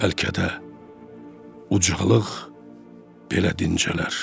Bəlkə də ucalıq belə dincələr.